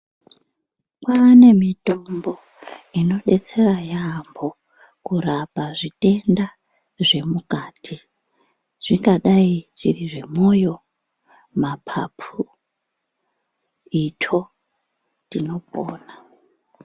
Kwane mitombo inodetsera yambo kurapa zvitenda zvemukati zvingadai zviri zvemwoyo ,mapapu, itsvo tinopona.